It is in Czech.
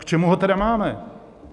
K čemu ho tedy máme?